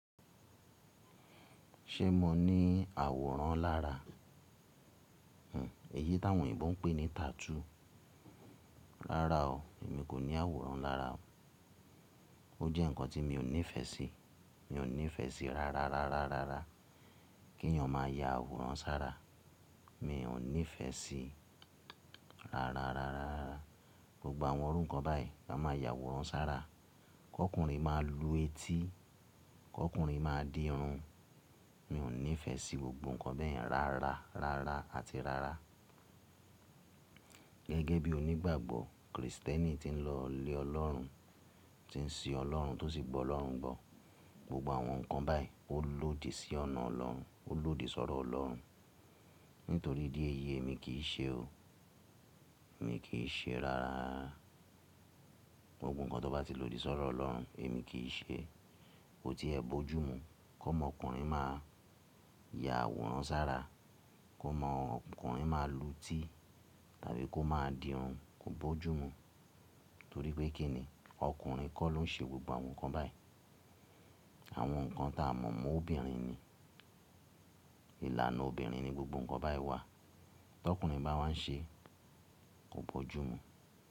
Ṣé mo ní àwòrán lára? Hmm, èyí táwọn òyìnbó ń pè ní tattoo. Rárá o, èmi kò ní àwòrán lára o. Ó jẹ́ ǹkan tí mi ò nífẹ̀ẹ́ sí. Mi ò nífẹ̀ẹ́ sí ra, ra, ra, ra, ra, kí èyàn máa yá àwòrán sára. Mi ò nífẹ̀ẹ́ sí ra, ra, ra, ra, ra gbogbo àwọn irú ǹkan báyìí máa yá àwòrán sára. Kọ́kùnrin máa lu etí, kọ́kùnrin máa di irun. Mi ò nífẹ̀ẹ́ sí gbogbo ǹkan bẹ́ẹ̀ ra, ra, ra, ra àti ra, ra. Gẹ́gẹ́ bí onígbàgbọ́ Kristẹni tí n lọ lé Ọlọ́run, tí n sìn Ọlọ́run tó sì gbọ́ Ọlọ́run gbọ́, gbogbo àwọn ǹkan báyìí ó lòdì sí ọ̀nà Ọlọ́run, ó lòdì sọ́rọ̀ Ọlọ́run. Nítorí ìdíèyí èmi kì í ṣe o. Mi kì í ṣe rárá. Gbogbo ǹkan tó bá ti lòdì sọ́rọ̀ Ọlọ́run èmi kì í ṣe. Ó ti ẹ bojumu. Kọ́mọ ọkùnrin máa yá àwòrán sára, kó mọ ọkùnrin máa lu etí tàbí kó má di irun kò bójú mu. Torí pé kí ni ọkùnrin kọ́ ló ń ṣe gbogbo àwọn ǹkan báyìí. Àwọn ǹkan ta mọ̀ mọ obìnrin ni. Ìlànà obìnrin ni gbogbo ǹkan báyìí wà. Tọkùnrin bá wá ń ṣe kò bójú mu.